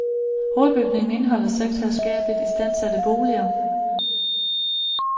Hovedbygningen indeholder seks herskabeligt istandsatte boliger.